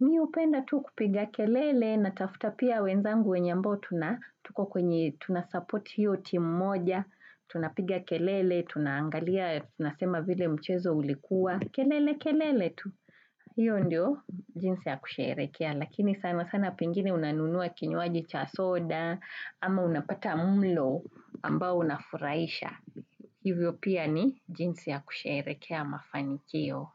mi hupenda tu kupiga kelele na tafuta pia wenzangu wenye ambao tuna Tuko kwenye tunasupport hiyo timu moja. Tunapiga kelele, tunangalia, tunasema vile mchezo ulikuwa. Kelele kelele tu hiyo ndiyo jinsi ya kusherekea lakini sana sana pengine unanunua kinywaji cha soda ama unapata mlo ambao unafuraisha hivyo pia ni jinsi ya kusherekea mafanikio.